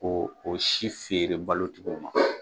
Ko o si feere balotigiw ma